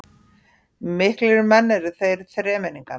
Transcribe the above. Miklir menn eru þeir þremenningar